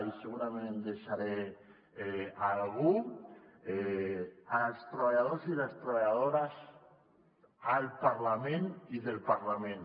i segurament em deixaré algú als treballadors i les treballadores al parlament i del parlament